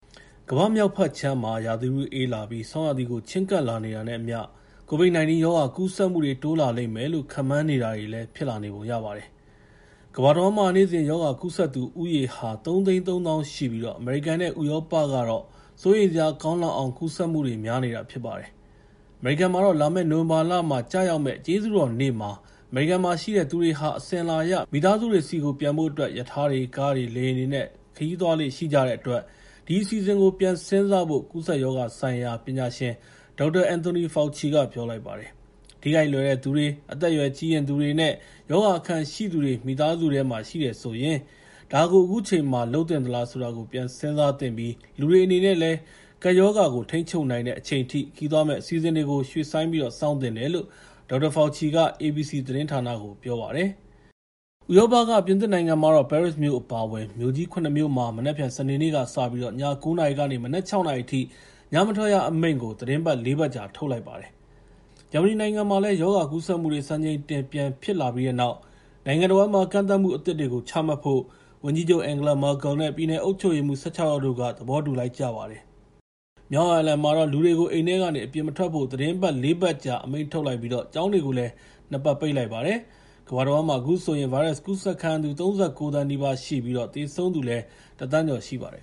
ကမ္ဘာ့မြောက်ဘက်ခြမ်းမှာ ရာသီဥတုအေးလာပြီး ဆောင်းရာသီကို ချဉ်းကပ်လာနေတာနဲ့အမျှ ကိုဗစ် ၁၉ ရောဂါကူးစက်မှုတွေ တိုးလာလိမ့်မယ်လို့ ခန့်မှန်းထားတာ အခုတော့ တကယ်ဖြစ်လာနေတဲ့ပုံရှိပါတယ်။ ကမ္ဘာတဝန်းမှာ နေ့စဉ်ရောဂါကူးစက်သူဦးရေဟာ ၃၃,၀၀၀ ရှိပြီး အမေရိကန်နဲ့ ဥရောပကတော့ စိုးရိမ်စရာကောင်းလောက်အောင် ကူးစက်မှုတွေ များနေတာဖြစ်ပါတယ်။ အမေရိကန်မှာတော့ လာမယ့် နိုဝင်ဘာလမှာ ကျရောက်မယ့် ကျေးဇူးတော်နေ့မှာ အမေရိကန်မှာရှိတဲ့သူတွေဟာ အစဉ်အလာအရ မိသားစုတွေဆီကို ပြန်ဖို့အတွက် ရထားတွေ၊ ကားတွေ၊ လေယာဉ်တွေနဲ့ သွားကြလေ့ရှိတဲ့အတွက် အဲဒီအစီအစဉ်ကို ပြန်စဉ်စားဖို့ ကူးစက်ရောဂါဆိုင်ရာပညာရှင် Dr. Anthony Fauci က ပြောလိုက်ပါတယ်။ ထိခိုက်လွယ်တဲ့သူ၊ အသက်အရွယ်ကြီးရင့်သူနဲ့ ရောဂါအခံရှိတဲ့သူတွေ မိသားစုထဲမှာ ရှိတယ်ဆိုရင် ဒါကို အခုချိန်မှာ လုပ်သင့်သလားဆိုတာကို ပြန်စဉ်းစားသင့်ပြီး လူတွေအနေနဲ့ ကပ်ရောဂါကိုထိန်းချုပ်နိုင်တဲ့အချိန်ထိ ခရီးသွားမယ့်အစီအစဉ်တွေကို ရွှေ့ဆိုင်းပြီး စောင့်သင့်တယ်လို့ Dr. Fauci က ABC သတင်းဌာနကို ပြောပါတယ်။ ပြင်သစ်နိုင်ငံမှာတော့ ပဲရစ်မြို့အပါအဝင် မြို့ကြီး ၇ မြို့မှာ မနက်ဖြန် စနေနေ့ကစပြီး ည ၉ နာရီကနေ မနက် ၆ နာရီအထိ ညမထွက်ရအမိန့် သီတင်း ၄ ပတ်ကြာ ထုတ်လိုက်ပါတယ်။ ဂျာမနီနိုင်ငံမှာ ရောဂါကူးစက်မှုတွေ စံချိန်တင်ပြန်ဖြစ်လာပြီးတဲ့နောက် နိုင်ငံတဝန်းမှာ ကန့်သတ်မှုအသစ်တွေကိုချမှတ်ဖို့ ဝန်ကြီးချုပ် အန်ဂလာ မာကယ်လ်နဲ့ ပြည်နယ်အုပ်ချုပ်ရေးမှူး ၁၆ ယောက်တို့က သဘောတူလိုက်ပါတယ်။ မြောက်အိုင်ယာလန်မှာ လူတွေကို အိမ်ထဲကနေ အပြင်မထွက်ဖို့ သီတင်းပတ် ၄ ပတ်အမိန့်ထုတ်လိုက်ပြီး ကျောင်းတွေကိုလည် ၂ ပတ်ပိတ်လိုက်ပါတယ်။ ကမ္ဘာတဝန်းမှာ အခုဆိုရင် ဗိုင်းရပ်စ်ကူးစက်ခံရသူ ၃၉ သန်း နီးပါးရှိ ပြီး သေဆုံးသူ ၁,၀၀၀,၀၀၀ ကျော်ရှိပါတယ်